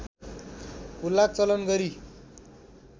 हुलाक चलान गरी